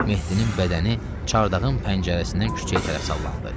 Mehdinin bədəni çardağın pəncərəsindən küçəyə tərəf sallandı.